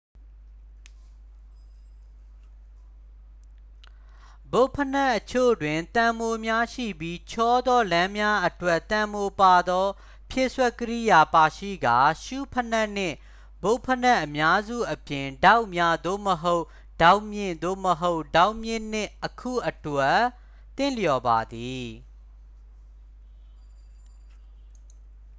ဘွတ်ဖိနပ်အချို့တွင် သံမှိုများ ရှိပြီး ချောသော လမ်းများအတွက် သံမှိုပါသော ဖြည့်စွက်ကိရိယာ ပါရှိကာ ရှူးဖိနပ်နှင့် ဘွတ်ဖိနပ်အများစုအပြင် ဒေါက်များ သို့မဟုတ် ဒေါက်မြင့် သို့မဟုတ် ဒေါက်မြင့်နှင့် အခု အတွက် သင့်လျော်ပါသည်